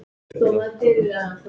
Hvað átt þú af börnum?